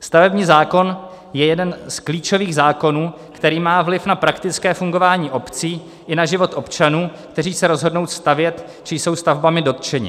Stavební zákon je jeden z klíčových zákonů, který má vliv na praktické fungování obcí i na život občanů, kteří se rozhodnou stavět či jsou stavbami dotčeni.